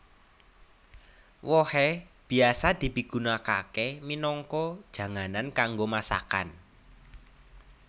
Wohé biasa dipigunakaké minangka janganan kanggo masakan